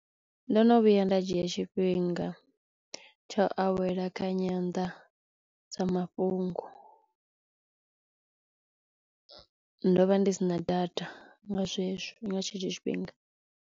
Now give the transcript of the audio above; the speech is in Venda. Ndo no vhuya nda dzhia tshifhinga tsha u awela kha nyanḓadzamafhungo. Ndo vha ndi sina data nga zwezwo nga tshetsho tshifhinga.